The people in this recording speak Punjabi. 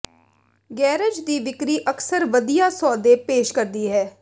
ਗੈਰਾਜ ਦੀ ਵਿਕਰੀ ਅਕਸਰ ਵਧੀਆ ਸੌਦੇ ਪੇਸ਼ ਕਰਦੀ ਹੈ